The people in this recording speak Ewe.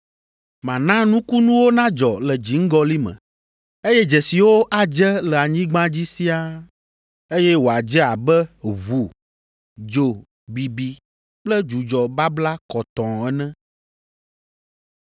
Mana nukunuwo nadzɔ le dziŋgɔli me, eye dzesiwo adze le anyigba dzi siaa eye wòadze abe ʋu, dzo bibi kple dzudzɔ babla kɔtɔɔ ene.